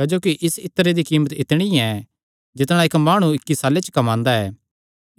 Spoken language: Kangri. क्जोकि इस इत्तरे दी कीमत इतणी ऐ जितणा इक्क माणु इक्की साल्ले च कम्मांदा ऐ